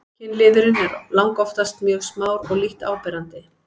kynliðurinn er langoftast mjög smár og lítt áberandi